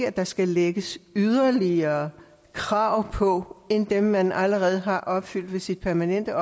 at der skal lægges yderligere krav på end dem man allerede har opfyldt med sin permanente